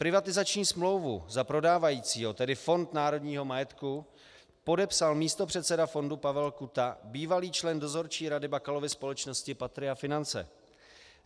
Privatizační smlouvu za prodávajícího, tedy Fond národního majetku, podepsal místopředseda fondu Pavel Kuta, bývalý člen dozorčí rady Bakalovy společnosti Patria Finance.